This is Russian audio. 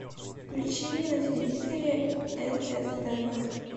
включи мне на телевизоре нств